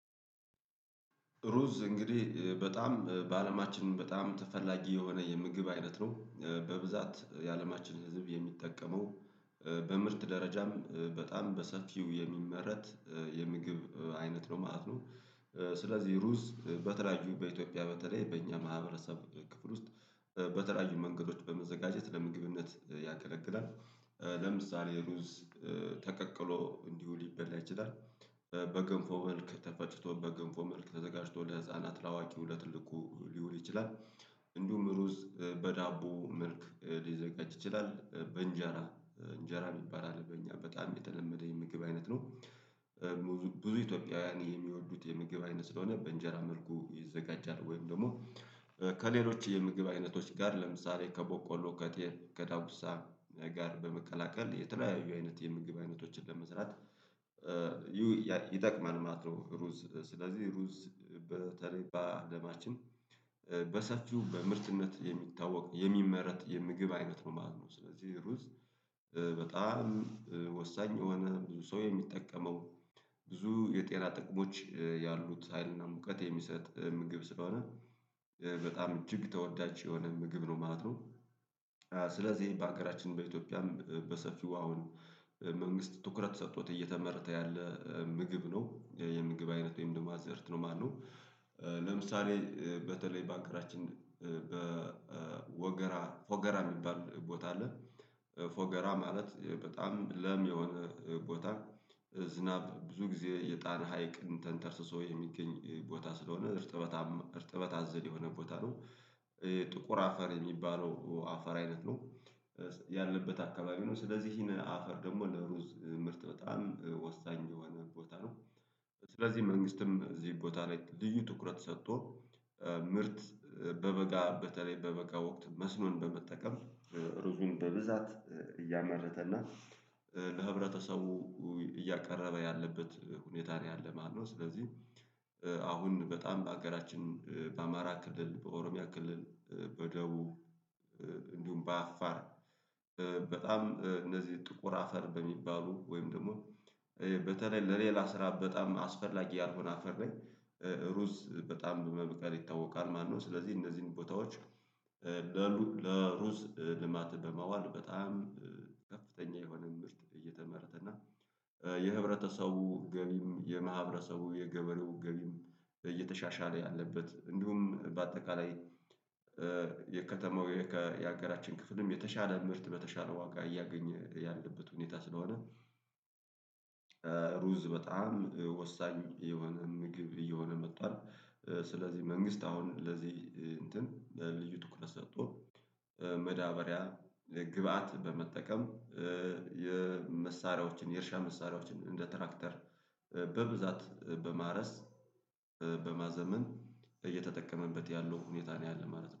ሩዝ እንግዲህ በጣም በአለማችን በጣም ተፈላጊ የሆነ የምግብ አይነት ነው በብዛት የአለማችን ህዝብ የሚጠቀመው በምርት ደረጃም በጣም በሰፊው የሚመረት የምግብ አይነት ነው ማለት ነው። ስለዚህ ሩዝ በተለያዩ በኢትዮጵያ በተለይ በእኛ ማህበረሰብ ክፍል ውስጥ በተለያዩ መንገዶች በመዘጋጀት ለምግብነት ያገለግላል። ለምሳሌ ሩዝ ተቀቅሎ እንዲሁ ሊበላ ይችላል። በገንፎ መልክ ተፈጭቶ በገንፎ መልክ ተዘጋጅቶ ለህፃናት ለአዋቂ ለትልቁ ሊውል ይችላል። እንዲሁም ሩዝ በዳቦ መልክ ሊዘጋጅ ይችላል በእንጀራ እንጀራ የሚባል አለ በእኛ በጣም የተለመደ የምግብ አይነት ነው። ብዙ ኢትዮጵያውያን የሚወዱት የምግብ አይነት ስለሆነ በእንጀራ መልኩ ይዘጋጃል ወይም ደግሞ ከሌሎች የምግብ አይነቶች ጋር ለምሳሌ ከቦቆሎ ከጤፍ ከዳጉሳ ጋር በመቀላቀል የተለያዩ አይነት የምግብ አይነቶችን ለመስራት ይጠቅማል ማለት ነው። ሩዝ ስለዚህ ሩዝ በተለይ አለማችን በሰፊው በምርትነት የሚታወቅ የሚመረት የምግብ አይነት ነው ማለት ነው። ስለዚህ ሩዝ በጣም ወሳኝ የሆነ ብዙ ሰው የሚጠቀመው ብዙ የጤና ጥቅሞች ያሉት ሀይልና ሙቀት የሚሰጥ ምግብ ስለሆነ በጣም እጅግ ተወዳጅ የሆነ ምግብ ነው ማለት ነው። ስለዚህ ይሄ በሀገራችን በኢትዮጵያም በሰፊው አሁን መንግስት ትኩረት ሰጥቶት እየተመረተ ያለ ምግብ ነው የምግብ አይነት ወይም ደግሞ አዘዕርት ነው ማለት ነው። ለምሳሌ በተለይ በአገራችን በወገራ ፎገራ የሚባል ቦታ አለ ፎገራ ማለት በጣም ለም የሆነ ቦታ ዝናብ ብዙ ጊዜ የጣና ሀይቅን ተንተርሶ የሚገኝ ቦታ ስለሆነ እርጥበታማ እርጥበት አዘል የሆነ ቦታ ነው። ጥቁር አፈር የሚባለው አፈር አይነት ነው። ያለበት አካባቢ ነው ስለዚህ ይሄንን አፈር ደግሞ ለሩዝ ምርጥ በጣም ወሳኝ የሆነ ቦታ ነው። ስለዚህ መንግስትም እዚህ ቦታ ላይ ልዩ ትኩረት ሰቶ ምርት በበጋ በተለይ በበ ወቅት መስኖን በመጠቀም ሩዙን በብዛት እያመረተ እና ለህብረተሰቡ እያቀረበ ያለበት ሁኔታ ላይ አለ ማለት ነው። ስለዚህ አሁን በጣም በአገራችን በአማራ ክልል በኦሮሚያ ክልል በደቡብ እንዲሁም በአፋር በጣም እነዚህ ጥቁር አፈር በሚባሉ ወይም ደግሞ በተለይ ለሌላ ስራ በጣም አስፈላጊ ያልሆነ አፈር ላይ ሩዝ በጣም በመብቀል ይታወቃል። ማነው ስለዚህ እነዚህን ቦታዎች ለሩዝ ልማት በማዋል በጣም ከፍተኛ የሆነ ምርት እየተመረተ እና የህብረተሰቡ ገቢም የማህበረሰቡ የገበሬው ገቢም እየተሻሻለ ያለበት እንዲሁም በአጠቃላይ የከተማው የሀገራችን ክፍልም የተሻለ ምርት በተሻለ ዋጋ እያገኘ ያለበት ሁኔታ ስለሆነ ሩዝ በጣም ወሳኝ የሆነ ምግብ እየሆነ መጥቷል። ስለዚህ መንግስት አሁን ለዚህ እንትን ልዩ ትኩረት ሰጥቶ መዳበሪያ የግብአት በመጠቀም የመሳሪያዎችን የእርሻ መሳሪያዎችን እንደ ትራክተር በብዛት በማረስ በማዘመን እየተጠቀመበት ያለው ሁኔታ ነው ያለው ማለት ነው